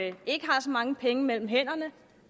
ikke ikke har så mange penge mellem hænderne